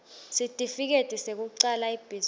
sitifiketi sekucala ibhizinisi